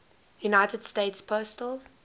united states postal